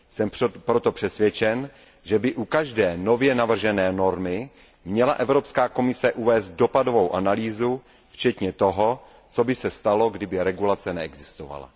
Jsem proto přesvědčen, že by u každé nově navržené normy měla Evropská komise uvést dopadovou analýzu, včetně toho, co by se stalo, kdyby regulace neexistovala.